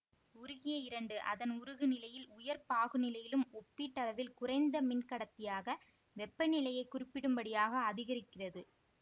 உருகிய இரண்டு அதன் உருகுநிலையில் உயர் பாகுநிலையிலும் ஒப்பீட்டளவில் குறைந்த மின் கடத்தியாக வெப்பநிலையை குறிப்பிடும்படியாக அதிகரிக்கிறது